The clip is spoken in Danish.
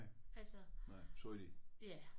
Nej sort i